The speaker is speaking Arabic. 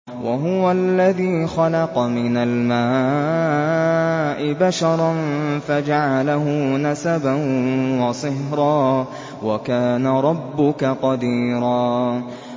وَهُوَ الَّذِي خَلَقَ مِنَ الْمَاءِ بَشَرًا فَجَعَلَهُ نَسَبًا وَصِهْرًا ۗ وَكَانَ رَبُّكَ قَدِيرًا